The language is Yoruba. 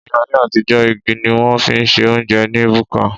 Ní ayé àtijó, igi ni wón fi ń se óúnjẹ ní búkà